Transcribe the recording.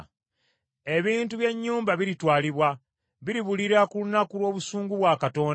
Ebintu by’ennyumba biritwalibwa, biribulira ku lunaku lw’obusungu bwa Katonda.